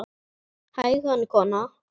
Hægan kona!